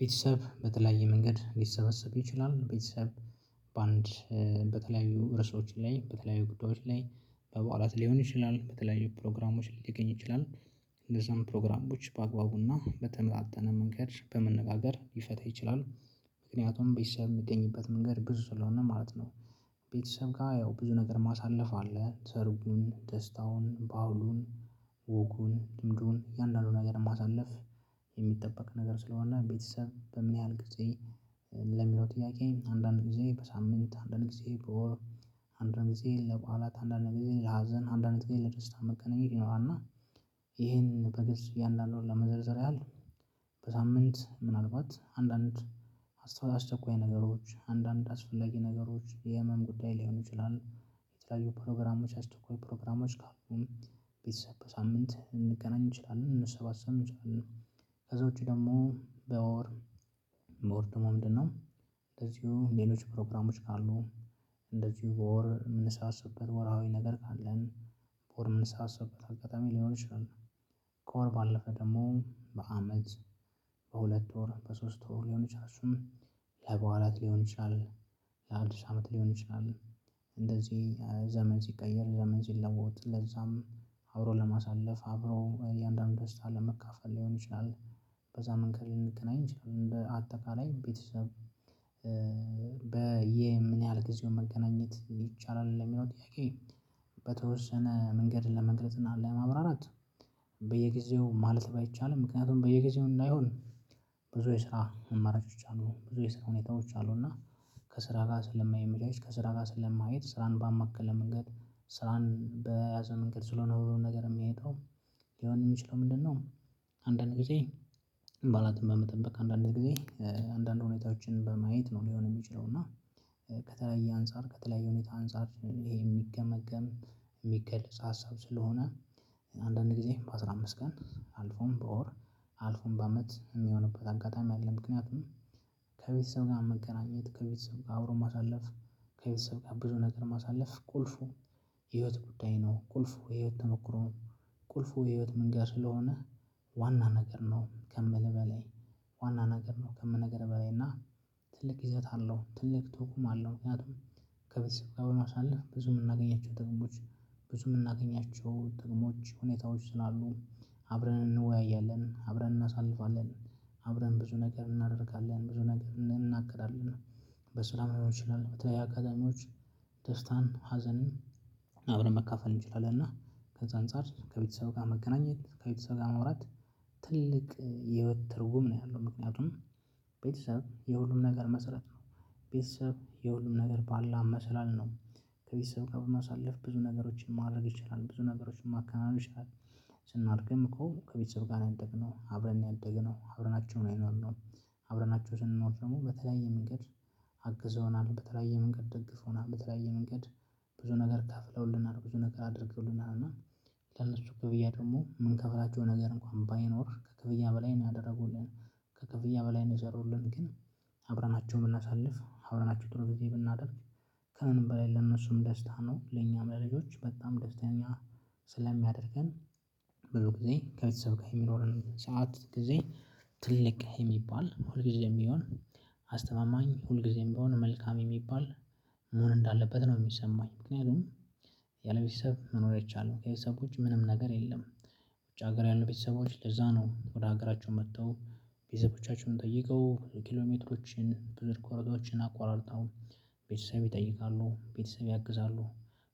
ቤተሰብ በተለያየ መንገድ ሊሰበሰብ ይችላል ቤተሰብ በአንድ በተለያዩ ርዕሶች ላይ በተለያዩ ጉዳዮች ላይ በበዓላት ሊሆን ይችላል በተለያዩ ፕሮግራሞች ሊገኝ ይችላል። እንደዛም ፕሮግራሞች በአግባቡና በተመጣጠነ መንገድ በመነጋገር ሊፈታ ይችላል። ምክንያቱም ቤተሰብ የሚገኝበት መንገድ ብዙ ስለሆነ ማለት ነው። ቤተሰብ ጋር ያው ብዙ ነገር ማሳለፍ አለ። ሰርጉን ደስታውን በዓሉን ወጉን እንድሁም እያንዳንዱን ነገር ማሳለፍ። የሚጠበቅ ነገር ስለሆነ ቤተሰብ በምን ያህል ጊዜ ለሚለው ጥያቄ አንዳንድ ጊዜ በሳምንት አንድ አንድ ጊዜ ለበዓላት አንዳ አንድ ጊዜ ለሀዘን አንድ አመት ጊዜ ለደስታ መገናኘት ይኖራል። እና ይሄን በግልጽ እያንዳንዱን ለመዘርዘር ያህል በሳምንት ምናልባት አንዳንድ አስቸኳይ ነገሮች አንዳንድ አስፈላጊ ነገሮች የህመም ጉዳይ ሊሆኑ ይችላሉ። የተለያዩ ፕሮግራሞች አስቸኳይ ፕሮግራሞች ከአሁን ቤተሰብ በሳምንት ልንገናኝ እንችላለን ልንሰባሰብ እንችላለን። ከዛ ውጪ ደግሞ በወር በወር ደሞ ምንድነው? እንደዚሁ ሌሎች ፕሮግራሞች ካሉ እንደዚሁ በወር የምንሰባሰብበት ወርሃዊ ነገር ካለን በወር የምንሰባሰብበት አጋጣሚ ሊኖር ይችላል። ከወር ባለፈ ደግሞ በአመት በሁለት ወር በሶስት ወር ሊሆን ይችላል እሱም ለበዓላት ሊሆን ይችላል። ለአድስ አመት ሊሆን ይችላል። እንደዚህ ዘመን ሲቀየር ዘመን ሲለወጥ ለዛም አብሮ ለማሳለፍ አብሮ እያንዳንዱን ደስታ ለመካፈል ሊሆን ይችላል። በዛ መንገድ ልንገናኝ እንችላለን በአጠቃላይ ቤተሰብ በምን ያህል ጊዜውን መገናኘት ይቻላል ለሚለው ጥያቄ? በተወሰነ መንገድ ለመግለጽ እና ለማብራራት በየጊዜው ማለት ባይቻልም ምክንያቱም በየጊዜው እንዳይሆን ብዙ የስራ አማራጮች አሉ ብዙ የስራ ሁኔታዎች አሉ። እና ከስራ ጋር ስለማይመቻች ከስራ ጋር ስለማይሄድ ስራን ባማከለ መንገድ ስራን በያዘ መንገድ ስለሆነ ሁሉ ነገር የሚሄደው ሊሆን የሚችለው ምንድነው? አንዳንድ ጊዜ በዓላትም በመጠበቅ አንዳንድ ጊዜ አንዳንድ ሁኔታዎችን በማየት ነው ሊሆን የሚችለው። እና ከተለያየ አንፃር ከተለያየ ሁኔታ አንፃር ይሄ የሚገመገም የሚገለጽ ሀሳብ ስለሆነ አንዳንድ ጊዜ በአሥራ አምስት ቀን አልፎም በወር አልፎም በአመት የሚሆንበት አጋጣሚ አለ። ምክንያቱም ከቤተሰብ ጋር መገናኘት ከቤተሰብ ጋር አብሮ ማሳለፍ ከቤተሰብ ጋር ብዙ ነገር ማሳለፍ ቁልፉ ህይወት ጉዳይ ነው። ቁልፉ የህይወት ተሞክሮ ቁልፉ የህይወት መንገድ ስለሆነ። ዋና ነገር ነው። ከምል በላይ ዋና ነገር ነው። ከምነግርህ በላይ እና ትልቅ ይዘት አለው ትልቅ ተርጉም አለው። ምክንያቱም ከቤተሰብ ጋር በማሳለፍ ብዙ የምናገኛቸው ጥቅሞች ብዙ የምናገኛቸው ጥቅሞች ሁኔታዎች ስላሉ አብረን እንወያያለን አብረን እናሳልፋለን። አብረን ብዙ ነገር እናደርጋለን ብዙ ነገር እንናጋገራለን። በስራም ሊሆን ይችላል በተለይ አካባቢዎች ደስታን ሀዘንን አብረን መካፈል እንችላለን። እና ከዛ አንፃር ከቤተሰብ ጋር መገናኘት ከቤተሰብ ጋር ማውራት ትልቅ የህይወት ትርጉም ነው። ያለው ምክንያቱም ቤተሰብ የሁሉም ነገር መሰረት ነው። ቤተሰብ የሁሉም ነገር ባለ መሰላል ነው። ከቤተሰብ ጋር በማሳለፍ ብዙ ነገሮችን ማድረግ ይቻላል ብዙ ነገሮችን ማከናወን ይችላል። ስናደግም እኮ ከቤተሰብ ጋር ነው ያደግነው አብረን ነው ያደግነው አብረናቸውን የኖርነው። አብረናቸውን ስንኖር ደግሞ በተለያየ መንገድ አግዘውናል በተለያየ መንገድ ደግፎናል በተለያየ መንገድ ብዙ ነገር ከፍለውልናል። ብዙ ነገር አድርገውልናል እና ለሱ ክፍያ ደግሞ ምንከፍላቸው ነገር እንኳን ባይኖር ከክፍያ በላይ ነው ያደረጉልን። ከክፍያ በላይ ነው የሰሩልን። ግን አብረናቸው የምናሳልፍ አብረናቸው ጥሩ ጊዜ ብናደርግ ከምንም በላይ ለእነሱም ደስታ ነው ለኛም ለልጆች በጣም ደስተኛ ስለሚያደርገን። ብዙ ጊዜ ከቤተሰብ ጋር የሚኖረን ሰዓት ጊዜ ትልቅ የሚባል ሁል ጊዜም ቢሆን አስተማማኝ ሁል ጊዜም ቢሆን መልካም የሚባል መሆን እንዳለበት ነው። የሚሰማኝ ምክንያቱም ያለቤተሰብ መኖር አይቻልም ያለ ቤተሰቦች ምንም ነገር የለም። ውጭ ሀገር ያሉ ቤተሰቦች ለዛ ነው ወደ ሀገራቸው መጥተው ቤተሰቦቻቸውን ጠይቀው ኪሎሜትሮችን ብዙ ርኳሮቶችን አቋርጣው ቤተሰብ ይጠይቃሉ ቤተሰብ ያግዛሉ።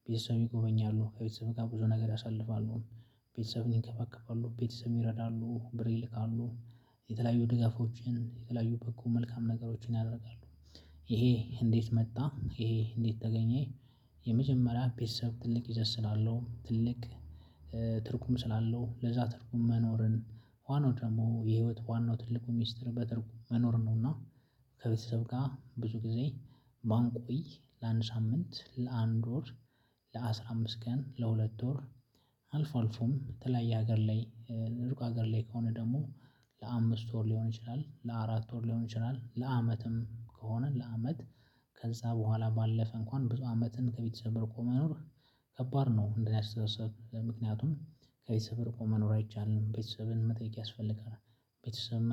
ቤተሰብ ይጎበኛሉ ከቤተሰብ ጋር ብዙ ነገር ያሳልፋሉ። ቤተሰብን ይንከባከባሉ ቤተሰብ ይረዳሉ ብር ይልካሉ። የተለያዩ ድጋፎችን የተለያዩ በኩል መልካም ነገሮችን ያደርጋሉ። ይሄ እንዴት መጣ? ይሄ እንዴት ተገኘ? የመጀመሪያ ቤተሰብ ትልቅ ይዘት ስላለው ትልቅ ትርጉም ስላለው ለዛ ትርጉም መኖርን ዋናው ደግሞ የህይወት ዋናው ትልቁ ሚስጥር በትርጉም መኖር ነውና። ከቤተሰብ ጋር ብዙ ጊዜ ባንቆይ ለአንድ ሳምንት ለአንድ ወር ለአስራ አምስት ቀን ለሁለት ወር አልፎ አልፎም በተለያየ ሀገር ላይ ሩቅ ሀገር ላይ ከሆነ ደግሞ ለአምስት ወር ሊሆን ይችላል ለአራት ወር ሊሆን ይችላል ለአመትም ከሆነ ለአመት ከዛ በኋላ ባለፈ እንኳን ብዙ አመትን ከቤተሰብ ሪቆ መኖር። ከባድ ነው እንደኔ አስተሳሰብ ምክንያቱም ከቤተሰብ ርቆ መኖር አይቻልም። ቤተሰብን መጠየቅ ያስፈልጋል። ቤተሰብ